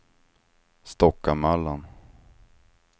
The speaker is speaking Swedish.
Stockamöllan